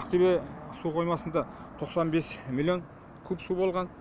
ақтөбе су қоймасында тоқсан бес миллион куб су болған